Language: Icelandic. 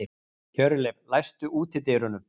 Hjörleif, læstu útidyrunum.